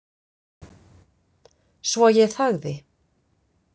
Svo ég þagði.